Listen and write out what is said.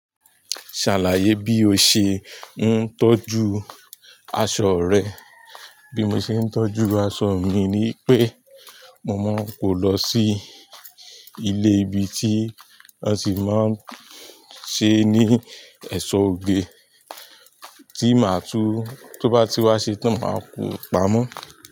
Ṣàlàyé bí o ṣe ń tọ́jú aṣọ rẹ. Bí mo ṣe ń tọ́jú aṣọ́ mi ni wipé mo máa kọ lọ sí ilé ibi tí wọ́n sì máa ń ṣe ní ẹ̀ṣọ́ oge tí màá tú. Tóbá ti wá ṣe tán, màá kó pamọ́.